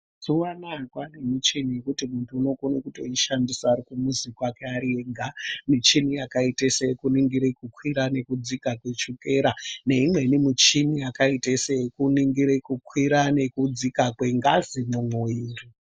Mazuwa anaa kwane michini yekuti muntu unokone kutoishandisa ari kumuzi kwake ari ega michini yakaite seyekuningire kukwira nekudzika kwechukera neimweni muchini yakaite seyekuningire kukwira nekudzika kwengazi mwumwuwiri.